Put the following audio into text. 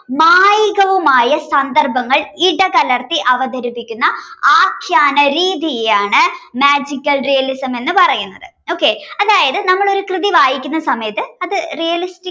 സന്ദർഭങ്ങൾ ഇടകലർത്തി അവതരിപ്പിക്കുന്ന ആഖ്യാന രീതിയാണ് magical realism എന്ന് പറയുന്നത് okay അതായത് നമ്മൾ ഒരു കൃതി വായിക്കുന്ന സമയത്ത് അത് realistic